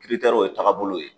o ye taagabolo ye.